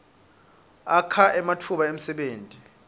akha ematfuba emdebenti